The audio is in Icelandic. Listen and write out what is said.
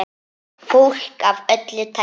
Fólk af öllu tagi.